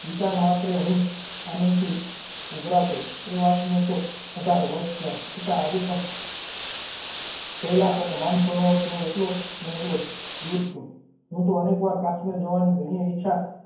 એ વિચારમાત્ર હું આનંદથી ઊભરાતો. એ વાતને તો અઢાર વર્ષ થયા, છતાં આજે પણ કૈલાસ અને માનસરોવરથી કે એટલો ને એટલો જ દર છે. મેં તો અનેક વાર કાશ્મીર જવાની ઘણીયે ઇચ્છા.